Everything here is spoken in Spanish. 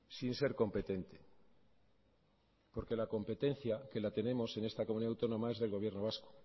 sin ser competente porque la competencia que la tenemos en esta comunidad autónoma es del gobierno vasco